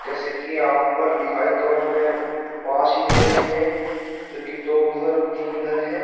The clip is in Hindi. जैसा कि यहाँ पर दिखाई तो हमे पाँच ही दे रहे हैं जो कि दो उधर तीन उधर हैं।